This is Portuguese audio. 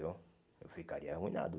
viu Eu ficaria arruinado.